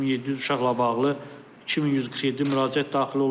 3700 uşaqla bağlı 2147 müraciət daxil olub.